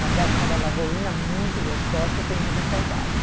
Uma praia chamada Lagoinha, muito gostosa, que eu tenho muitas saudades.